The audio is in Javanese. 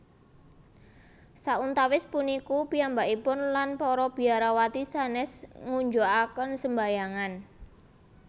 Sauntawis puniku piyambakipun lan para biarawati sanès ngunjukaken sembayangan